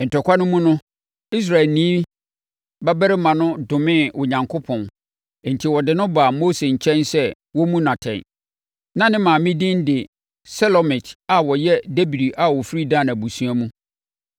Ntɔkwa no mu no, Israelni babarima no domee Onyankopɔn enti wɔde no baa Mose nkyɛn sɛ wɔmmu no atɛn. Na ne maame din de Selomit a ɔyɛ Dibri a ɔfiri Dan abusua mu.